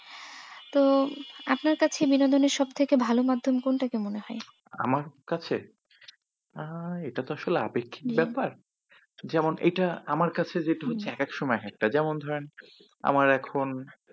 তো, আপনার কাছে বিনোদনের সবথেকে ভালো মাধ্যম কোনটাকে মনে হয়। আমার কাছে আহ এটা তো আসলে আপেক্ষিক ব্যাপার যেমন এটা আমার কাছে যেটা হচ্ছে একেক সময় এককটা, যেমন ধরেন, আমার এখন